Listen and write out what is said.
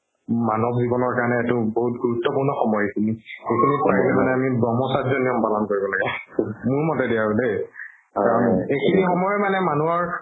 মানব জিৱনৰ কাৰণে এইটো বহুত গুৰুত্বপূৰ্ণ সময় এইখিনি এইখিনিত পাৰিলে মানে আমি ব্ৰহ্মচাৰী নিয়ম পালন কৰিব লাগে মোৰ মতে দি আৰু দেই কাৰণ এইখিনি সময়ে মানে মানুহৰ